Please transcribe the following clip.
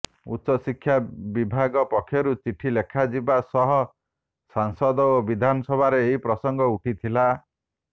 ଉଚ୍ଚଶିକ୍ଷା ବିଭାଗ ପକ୍ଷରୁ ଚିଠି ଲେଖାଯିବା ସହ ସାଂସଦ ଓ ବିଧାନସଭାରେ ଏହି ପ୍ରସଙ୍ଗ ଉଠିଥିଲା